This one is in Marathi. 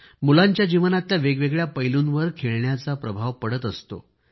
मुलांच्या जीवनातल्या वेगवेगळ्या पैलूंवर खेळण्यांचा प्रभाव पडत असतो